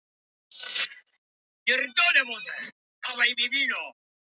En auðvitað varir þetta ekki lengi.